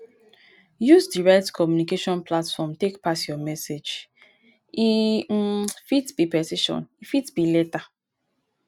use di right communication platform take pass your message e um fit be petition e fit be letter